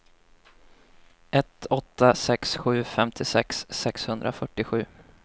ett åtta sex sju femtiosex sexhundrafyrtiosju